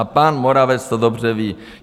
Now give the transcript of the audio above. A pan Moravec to dobře ví.